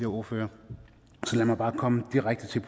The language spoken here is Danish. ordførere så lad mig bare komme direkte til